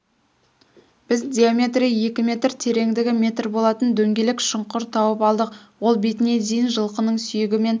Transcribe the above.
біз диаметрі екі метр тереңдігі метр болатын дөңгелек шұңқыр тауып алдық ол бетіне дейін жылқының сүйегімен